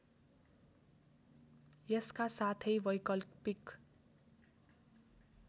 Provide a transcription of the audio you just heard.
यसका साथै वैकल्पिक